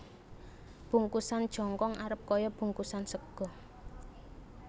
Bungkusan jongkong arep kaya bungkusan sega